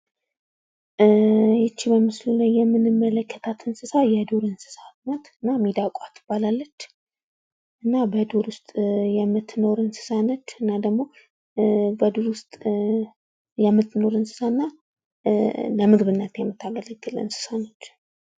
ይች በምስሉ ላይ የምንመለከታት እንስሳ የዱር እንስሳ ናት። እና ሚዳቋ ትባላለች። እና በዱር ውስጥ የምትኖር እንስሳ ነች። እና ደግሞ በዱር ውስጥ የምትኖር እንስሳ እና ለምግብነት የምታገለግል እንስሳ ነች።